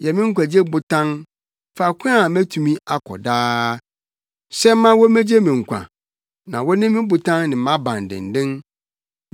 Yɛ me nkwagye botan, faako a metumi akɔ daa; hyɛ ma wommegye me nkwa, na wone me botan ne mʼabandennen.